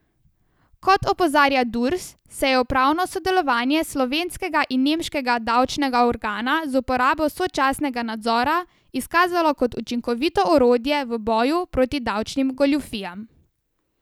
Kot opozarja Durs, se je upravno sodelovanje slovenskega in nemškega davčnega organa z uporabo sočasnega nadzora izkazalo kot učinkovito orodje v boju proti davčnim goljufijam.